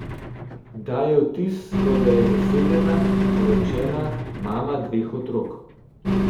Daje vtis, kot da je zasedena, poročena, mama dveh otrok.